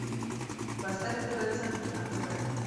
поставь тв центр на тв